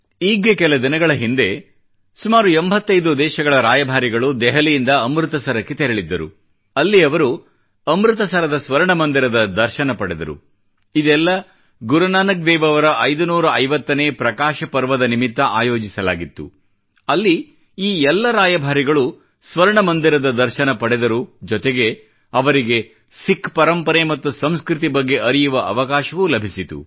ಈಗ್ಗೆ ಕೆಲ ದಿನಗಳ ಹಿಂದೆ ಸುಮಾರು 85 ದೇಶಗಳ ರಾಯಭಾರಿಗಳು ದೆಹಲಿಯಿಂದ ಅಮೃತ್ ಸರಕ್ಕೆ ತೆರಳಿದ್ದರು ಅಲ್ಲಿ ಅವರು ಅಮೃತ್ ಸರದ ಸ್ವರ್ಣ ಮಂದಿರದ ದರ್ಶನ ಪಡೆದರು ಇದೆಲ್ಲಾ ಗುರುನಾನಕ್ ದೇವ್ ಅವರ 550ನೇ ಪ್ರಕಾಶ ಪರ್ವದ ನಿಮಿತ್ತ ಆಯೋಜಿಸಲಾಗಿತ್ತು ಅಲ್ಲಿ ಈ ಎಲ್ಲ ರಾಯಭಾರಿಗಳು ಸ್ವರ್ಣ ಮಂದಿರದ ದರ್ಶನ ಪಡೆದರು ಜೊತೆಗೆ ಅವರಿಗೆ ಸಿಖ್ ಪರಂಪರೆ ಮತ್ತು ಸಂಸ್ಕೃತಿ ಬಗ್ಗೆ ಅರಿಯುವ ಅವಕಾಶವೂ ಲಭಿಸಿತು